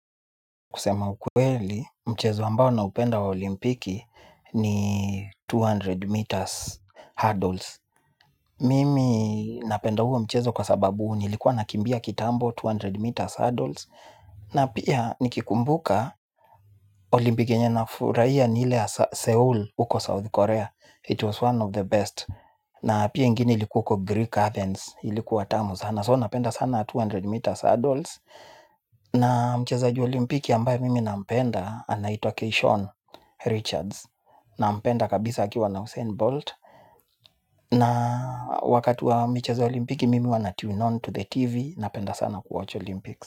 Kusema ukweli, mchezo ambao naupenda wa Olimpiki, ni mia mbili meters hurdles. Mimi napenda huo mchezo kwa sababu nilikuwa nakimbia kitambo mia mbili meters hurdles. Na pia, nikikumbuka, Olimpiki yenye na furaia ni hile ya Seoul uko South Korea. It was one of the best. Na pia ingine ilikuwa uko Greek Athens, ilikuwa tamu sana. So napenda sana mia mbili meters hurdles. Na mchezaji wa Olimpiki ambaye mimi nampenda, anaitwa Kei Sean Richards. Nampenda kabisa akiwa na Usain Bolt. Na wakati wa michezo ya Olimpiki mimi huwa na tune on to the TV, napenda sana kuwatch Olimpikis.